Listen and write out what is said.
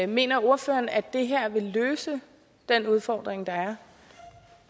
mener ordføreren at det her vil løse den udfordring der